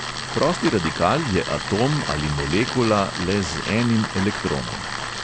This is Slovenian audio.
Prosti radikal je atom ali molekula le z enim elektronom.